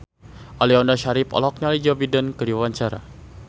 Aliando Syarif olohok ningali Joe Biden keur diwawancara